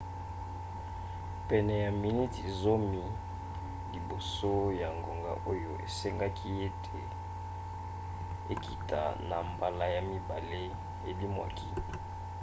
pene ya miniti zomi liboso ya ngonga oyo esengaki ete ekita na mbala ya mibale elimwaki